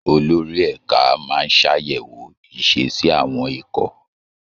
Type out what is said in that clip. Olórí ẹ̀ka máa ń ṣàyẹ̀wò ìṣesí àwọn ikọ̀